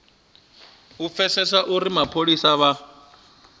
u pfesesa uri mapholisa vha